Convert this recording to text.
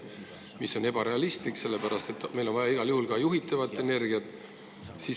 See on ebarealistlik, sellepärast et meil on igal juhul vaja ka juhitavat energiat.